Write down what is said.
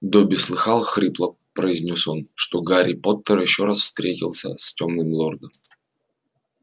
добби слыхал хрипло произнёс он что гарри поттер ещё раз встретился с тёмным лордом